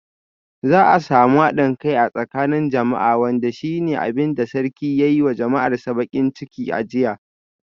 Za a samu hadin kai a tsakanin jama'a wanda shi ne abin da sarki ya yi wa jama'arsa bakin ciki a jiya.